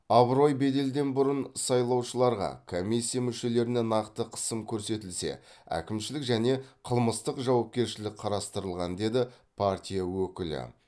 абырой беделден бұрын сайлаушыларға комиссия мүшелеріне нақты қысым көрсетілсе әкімшілік және қылмыстық жауапкершілік қарастырылған деді партия өкілі